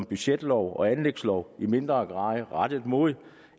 budgetlov og anlægslov i mindre grad rettet mod